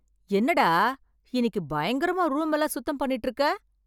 என்னடா இன்னைக்கு பயங்கரமா ரூம் எல்லாம் சுத்தம் பண்ணிட்டு இருக்க